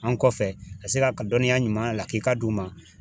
An kɔfɛ ka se ga dɔnniya ɲuman lakika d'u ma